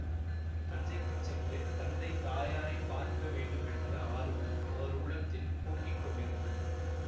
தஞ்சைக்குச் சென்று தந்தை தாயாரைப் பார்க்க வேண்டுமென்ற ஆர்வம் அவர் உள்ளத்தில் பொங்கி கொண்டிருந்தது